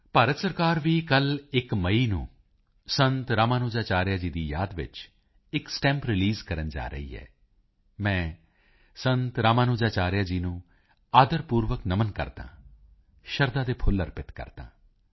ਭਾਰਤ ਸਰਕਾਰ ਵੀ ਕੱਲ 1 ਮਈ ਨੂੰ ਸੰਤ ਰਾਮਾਨੁਜਾਚਾਰਿਆ ਜੀ ਦੀ ਯਾਦ ਵਿੱਚ ਇਕ ਸਟੈਂਪ ਰੀਲੀਜ਼ ਕਰਨ ਜਾ ਰਹੀ ਹੈ ਮੈਂ ਸੰਤ ਰਾਮਾਨੁਜਾਚਾਰਿਆ ਜੀ ਨੂੰ ਆਦਰ ਪੂਰਵਕ ਨਮਨ ਕਰਦਾ ਹਾਂ ਸ਼ਰਧਾ ਦੇ ਫੁੱਲ ਅਰਪਿਤ ਕਰਦਾ ਹਾਂ